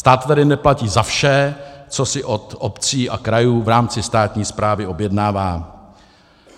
Stát tedy neplatí za vše, co si u obcí a krajů v rámci státní správy objednává.